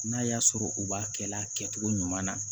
N'a y'a sɔrɔ u b'a kɛ la kɛcogo ɲuman na